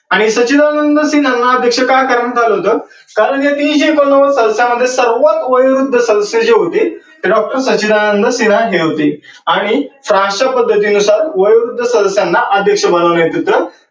आणि सचिदानंद सिन्हांना अध्यक्ष का करण्यात आलं होत कारण या तीनशे एकोण नव्वद सदस्यांमध्ये सर्वात वयोवृद्ध सदस्य जे होते ते डॉक्टर सचिदानंद सिन्हा हे होते. आणि तर अश्या पद्धतीनुसार वयोवृद्ध सदस्स्यानन अध्यक्ष बनवण्यात येतं.